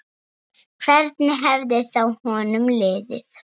Hvernig hefði þá honum liðið?